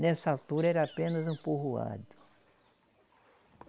Nessa altura era apenas um povoado.